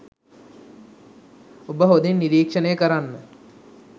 ඔබ හොඳින් නිරීක්‍ෂණය කරන්න